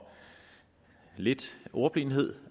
lidt ordblindhed